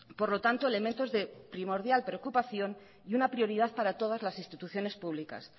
por lo tanto elementos de primordial preocupación y una prioridad para todas las instituciones públicas